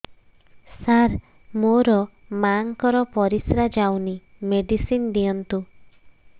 ସାର ମୋର ମାଆଙ୍କର ପରିସ୍ରା ଯାଉନି ମେଡିସିନ ଦିଅନ୍ତୁ